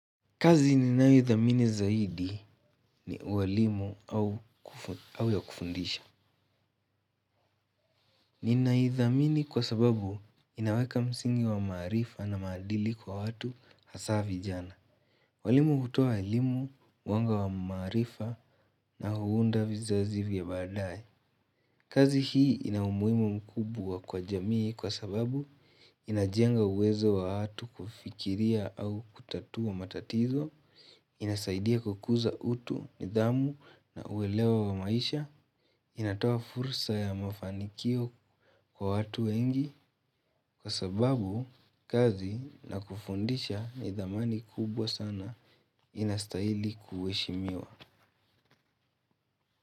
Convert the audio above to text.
Kazi ni nayo idhamini zaidi ni uwalimu au ya kufundisha. Ni naidhamini kwa sababu inaweka msingi wa maarifa na maadili kwa watu hasa vijana. Walimu hutoa elimu, mwanga wa maarifa na huunda vizazi vya baadaye. Kazi hii ina umuhimu mkubwa kwa jamii kwa sababu inajenga uwezo wa watu kufikiria au kutatua matatizo, inasaidia kukuza utu, nidhamu na uelewa wa maisha inatoa fursa ya mafanikio kwa watu wengi kwa sababu kazi na kufundisha nidhamani kubwa sana inastahili kuheshimiwa.